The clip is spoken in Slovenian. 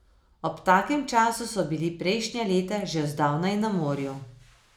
Ob takem času so bili prejšnja leta že zdavnaj na morju.